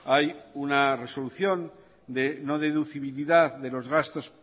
hay una resolución de no deducibilidad de los gastos